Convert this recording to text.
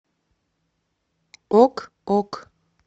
ок ок